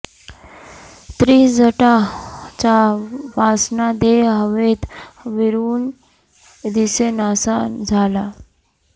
त्रिजटा चा वासना देह हवेत विरुन दिसे नासा झाला